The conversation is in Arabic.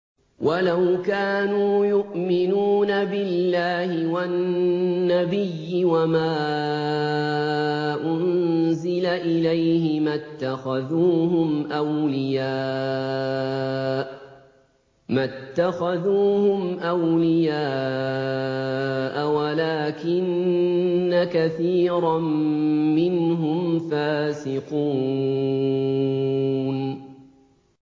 وَلَوْ كَانُوا يُؤْمِنُونَ بِاللَّهِ وَالنَّبِيِّ وَمَا أُنزِلَ إِلَيْهِ مَا اتَّخَذُوهُمْ أَوْلِيَاءَ وَلَٰكِنَّ كَثِيرًا مِّنْهُمْ فَاسِقُونَ